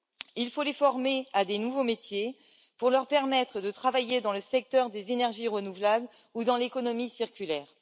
Il faut les former à de nouveaux métiers pour leur permettre de travailler dans le secteur des énergies renouvelables ou dans l'économie circulaire.